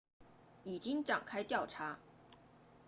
已经展开调查